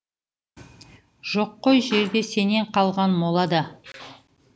жоқ қой жерде сенен қалған мола да